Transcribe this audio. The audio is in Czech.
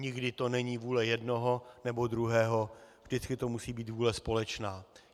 Nikdy to není vůle jednoho nebo druhého, vždycky to musí být vůle společná.